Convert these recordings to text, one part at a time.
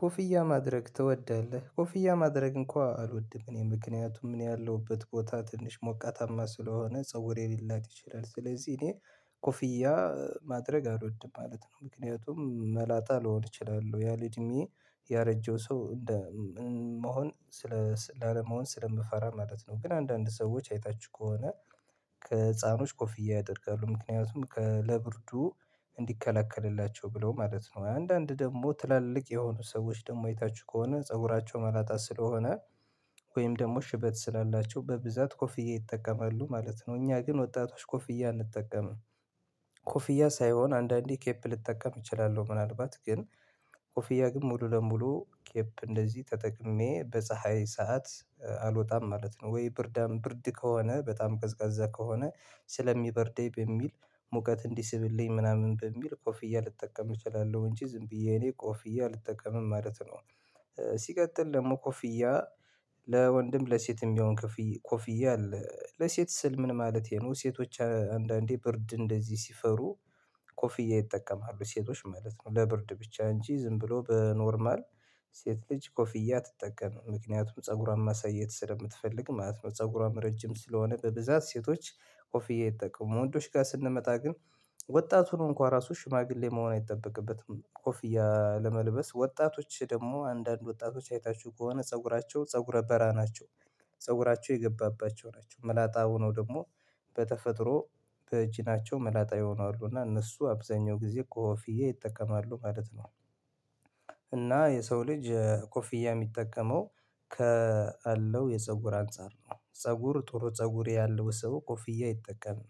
ኮፍያ ማድረግ ትወዳለህ? ኮፍያ ማድረግ እንኳን አልወድም እኔ ምክንያቱም ምን ያለሁበት ቦታ ትንሽ ሞቃታማ ስለሆነ ፀጉሬ ሊላጥ ይችላል ስለዚህ እኔ ኮፍያ ማድረግ አልወድም ማለት ነው። ምክንያቱም መላጣ ልሆን እችላለሁ ያለ እድሜ ያረጀሁ ሰው እንዳ መሆን ስለ ላለመሆን ስለምፈራ ማለት ነው። ግን አንዳንድ ሰዎች አይታችሁ ከሆነ ከህፃኖች ኮፍያ ያደርጋሉ ምክንያቱም ለብርዱ እንዲከላከልላቸው ብለው ማለት ነው። አንዳንድ ደግሞ ትላልቅ የሆኑ ሰዎች ደግሞ የታች ከሆነ ፀጉራቸው መላጣት ስለሆነ ወይም ደግሞ ሽበት ስላላቸው በብዛት ኮፍያ ይጠቀማሉ ማለት ነው። እኛ ግን ወጣቶች ኮፍያ አንጠቀምም። ኮፍያ ሳይሆን አንዳንዴ ኬፕ ልጠቀም እችላለሁ ምናልባት ግን ኮፍያ ግን ሙሉ ለሙሉ ኬፕ እንደዚህ ተጠቅሜ በፀሀይ ሰዓት አልወጣም ማለት ነው። ወይ ብርዳም ብርድ ከሆነ በጣም ቀዝቃዛ ከሆነ ስለሚበርደኝ በሚል ሙቀት እንዲህ ስብልኝ ምናምን በሚል ኮፍያ ልጠቀም እችላለሁ እንጂ ዝም ብዬ እኔ ኮፍያ ልጠቀምም ማለት ነው። ሲቀጥል ደግሞ ኮፍያ ለወንድም ለሴትም የሚሆን ኮፍያ አለ ለሴት ስል ምን ማለት ነው ሴቶች አንዳንዴ ብርድ እንደዚህ ሲፈሩ ኮፍያ ይጠቀማሉ ሴቶች ማለት ነው። ለብርድ ብቻ እንጂ ዝም ብሎ በኖርማል ሴት ልጅ ኮፍያ አትጠቀምም ምክንያቱም ፀጉሯን ማሳየት ስለምትፈልግ ማለት ነው። ፀጉሯም ረጅም ስለሆነ በብዛት ሴቶች ኦፍዬ ይጠቀሙ ወንዶች ጋር ስንመጣ ግን ወጣቱን እንኳን ራሱ ሽማግሌ መሆን አይጠበቅበትም ኮፍያ ለመልበስ ወጣቶች ደግሞ አንዳንድ ወጣቶች አይታችሁ ከሆነ ፀጉራቸው ፀጉረ በራ ናቸው ፀጉራቸው የገባባቸው ናቸው ምላጣ ሆኖ ደግሞ በተፈጥሮ በእጅ ናቸው መላጣ ይሆናሉ እና እነሱ አብዛኛው ጊዜ ኮፊዬ ይጠቀማሉ ማለት ነው። እና የሰው ልጅ ኮፍያ የሚጠቀመው ከአለው የፀጉር አንፃር ነው ፀጉር ጥሩ ፀጉሬ ያለው ሰው ኮፍያ አይጠቀምም።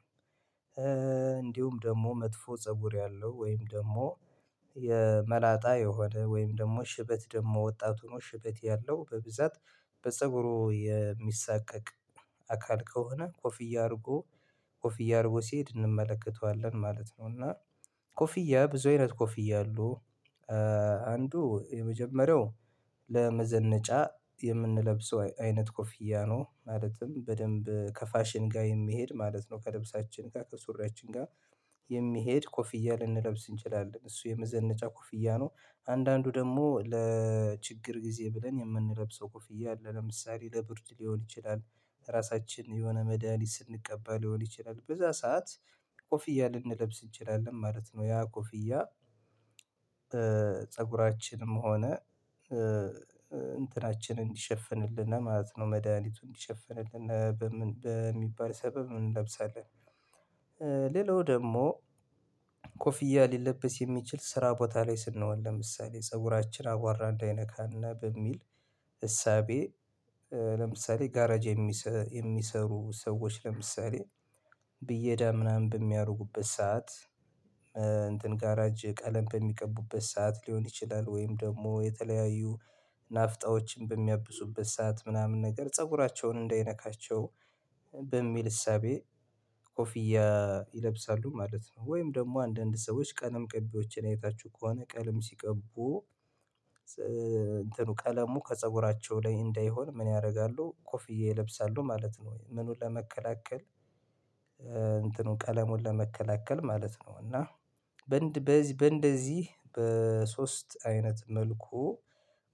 እንዲሁም ደግሞ መጥፎ ፀጉር ያለው ወይም ደግሞ የመላጣ የሆነ ወይም ደግሞ ሽበት ደግሞ ወጣቱ ነው ሽበት ያለው በብዛት በፀጉሩ የሚሳቀቅ አካል ከሆነ ኮፍያ አድርጎ ኮፍያ አድርጎ ሲሄድ እንመለከተዋለን ማለት ነው። እና ኮፍያ ብዙ አይነት ኮፍያ አሉ አንዱ የመጀመሪያው ለመዘነጫ የምንለብሰው አይነት ኮፊያ ነው። ማለትም በደንብ ከፋሽን ጋር የሚሄድ ማለት ነው። ከለብሳችን ጋር ከሱሪያችን ጋር የሚሄድ ኮፍያ ልንለብስ እንችላለን እሱ የመዘነጫ ኮፍያ ነው። አንዳንዱ ደግሞ ለችግር ጊዜ ብለን የምንለብሰው ኮፍያ አለ ለምሳሌ ለቡርድ ሊሆን ይችላል ራሳችን የሆነ መዳኒት ስንቀበል ሊሆን ይችላል በዛ ሰዓት ኮፍያ ልንለብስ እንችላለን ማለት ነው። ያ ኮፍያ ፀጉራችንም ሆነ እንትናችንን እንዲሸፍንልን ማለት ነው መድሃኒቱን እንዲሸፍንልን በሚባል ሰበብ እንለብሳለን። ሌላው ደግሞ ኮፍያ ሊለበስ የሚችል ስራ ቦታ ላይ ስንሆን ለምሳሌ ፀጉራችን አቋራ እንዳይነካና በሚል እሳቤ ለምሳሌ ጋራጅ የሚሰሩ ሰዎች ለምሳሌ ብዬ እዳ ምናምን በሚያደርጉበት ሰዓት እንትን ጋራጅ ቀለም በሚቀቡበት ሰዓት ሊሆን ይችላል ወይም ደግሞ የተለያዩ ናፍጣዎችን በሚያብሱበት ሰዓት ምናምን ነገር ፀጉራቸውን እንዳይነካቸው በሚል እሳቤ ኮፊያ ይለብሳሉ ማለት ነው። ወይም ደግሞ አንዳንድ ሰዎች ቀለም ቅቢዎችን አይታችሁ ከሆነ ቀለም ሲቀቡ እንትኑ ቀለሙ ከፀጉራቸው ላይ እንዳይሆን ምን ያደርጋሉ ኮፍዬ ይለብሳሉ ማለት ነው። ወይ ምኑን ለመከላከል እንትኑ ቀለሙን ለመከላከል ማለት ነው። እና በእንደዚህ በሶስት አይነት መልኩ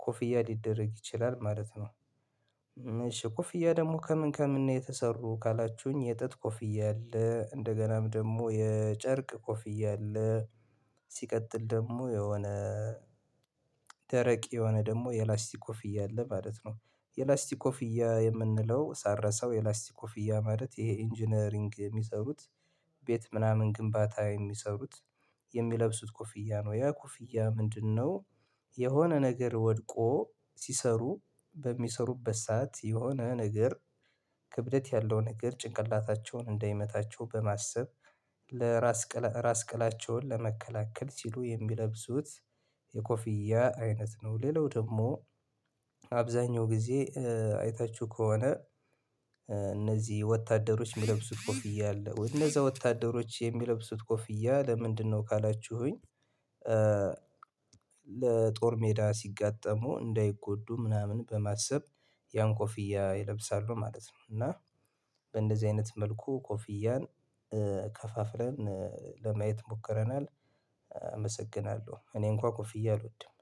ኮፍያ ሊደረግ ይችላል ማለት ነው። ኮፍያ ደግሞ ከምን ከምን የተሰሩ ካላችሁኝ የጥጥ ኮፍያ አለ እንደገናም ደግሞ የጨርቅ ኮፍያ አለ ሲቀጥል ደግሞ የሆነ ደረቅ የሆነ ደግሞ የላስቲክ ኮፍያ እያለ ማለት ነው። የላስቲክ ኮፍያ የምንለው ሳረሰው የላስቲክ ኦፍ እያ ማለት ይሄ ኢንጂነሪንግ የሚሰሩት ቤት ምናምን ግንባታ የሚሰሩት የሚለብሱት ኮፍያ ነው ያ ኮፍያ ምንድነው? የሆነ ነገር ወድቆ ሲሰሩ በሚሰሩበት ሰዓት የሆነ ነገር ክብደት ያለውን ንግር ጭንቅላታቸውን እንዳይመታቸው በማሰብ ለራስ ራስ ቅላቸውን ለመከላከል ሲሉ የሚለብሱት የኮፊያ አይነት ነው። ሌላው ደግሞ አብዛኛው ጊዜ አይታችሁ ከሆነ እነዚህ ወታደሮች የሚለብሱት ኮፍያ አለ ወይንም እነዛ ወታደሮች የሚለብሱት ኮፍያ ለምንድነው? ካላችሁኝ ለጦር ሜዳ ሲጋጠሙ እንዳይጎዱ ምናምን በማሰብ ያን ኮፍያ ይለብሳሉ ማለት ነው። እና በእንደዚህ አይነት መልኩ ኮፍያን ከፋፍለን ለማየት ሞክረናል። አመሰግናለሁ እኔ እንኳን ኩፍዬ አልወድም።